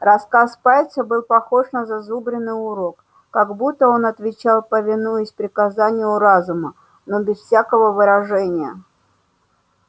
рассказ пальца был похож на зазубренный урок как будто он отвечал повинуясь приказанию разума но без всякого выражения